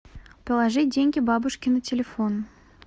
положи деньги бабушке на телефон